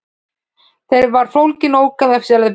Þar var fólginn ókannaður leyndardómur.